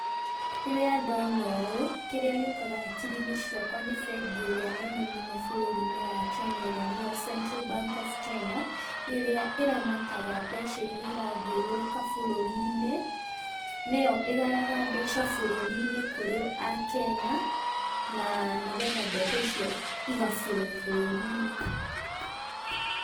Rĩrĩa ndona ũũ, kĩrĩa gĩũkaga hakiri-inĩ ciakwa nĩ bengi ĩrĩa nene mũno bũrũri-inĩ wa Kenya ĩrĩa nĩyo Central Bank of Kenya, ĩrĩa ĩramataga mbeca iria irathiũrũrũka bũrũri-inĩ, nĩyo ĩgayaga mbeca bũrũri-inĩ kũrĩ akenya, na nĩgetha mbeca icio iga flow bũrũri-inĩ.